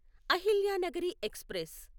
Ahilyanagari express